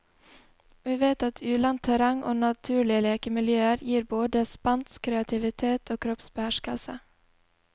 Vi vet at ulendt terreng og naturlige lekemiljøer gir både spenst, kreativitet og kroppsbeherskelse.